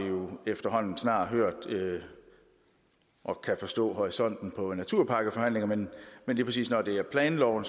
efterhånden snart hørt om og kan forstå horisonten på naturpakkeforhandlingerne men lige præcis når det er planloven